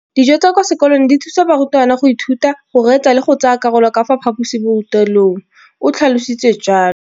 Dijo tsa kwa sekolong dithusa barutwana go ithuta, go reetsa le go tsaya karolo ka fa phaposiborutelong, o tlhalositse jalo.